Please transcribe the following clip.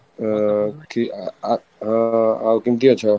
ହଁ, କି ଆ ଆଂ ଆଉ କେମିତି ଅଛ?